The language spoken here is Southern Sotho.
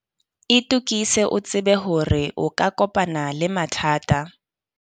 Itokise o tsebe hore o ka kopana le mathata.